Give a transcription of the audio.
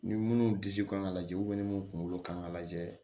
Ni munnu disi kan ka lajɛ ni mun kunkolo kan ka lajɛ